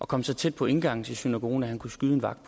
komme så tæt på indgangen til synagogen at han kunne skyde en vagt